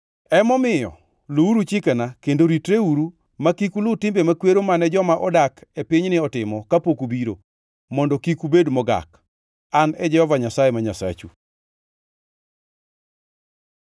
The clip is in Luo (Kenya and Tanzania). Emomiyo luwuru chikena kendo ritreuru ma kik uluw timbe makwero mane joma odak e pinyni otimo kapok ubiro, mondo kik ubed mogak. An e Jehova Nyasaye ma Nyasachu.’ ”